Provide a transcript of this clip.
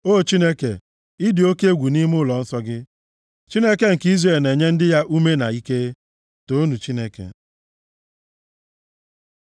O Chineke, ị dị oke egwu nʼime ụlọnsọ gị; Chineke nke Izrel na-enye ndị ya ume na ike. Toonu Chineke!